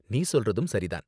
நீ சொல்றதும் சரி தான்.